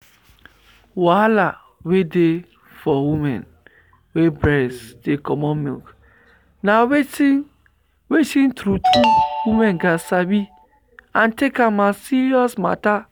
wahala wey dey for women wey breast dey comot milk na wetin wetin true true women gat sabi and take am as serious matter.